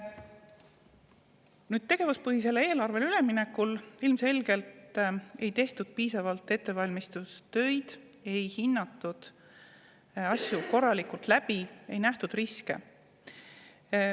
Nüüd, tegevuspõhisele eelarvele üleminekul ilmselgelt ei tehtud piisavalt ettevalmistustööd, ei hinnatud asju korralikult, ei mõeldud neid läbi ega nähtud ette riske.